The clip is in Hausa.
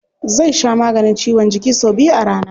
Zai sha maganin ciwon jiki sau biyu a rana.